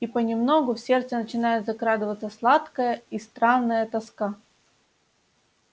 и понемногу в сердце начинает закрадываться сладкая и странная тоска